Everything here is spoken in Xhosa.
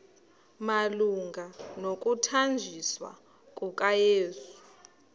malunga nokuthanjiswa kukayesu